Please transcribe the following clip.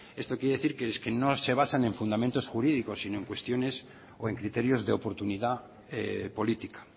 eso quiere decir que es que no se basan en fundamentos jurídicos sino en cuestiones o en criterios de oportunidad política